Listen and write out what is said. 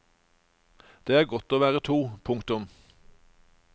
Det er godt å være to. punktum